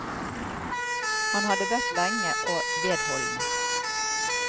Han hadde bedt lenge og vedholdende.